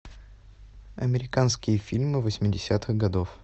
американские фильмы восьмидесятых годов